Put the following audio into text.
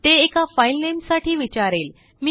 ते एकाफाइल नेम साठी विचारेल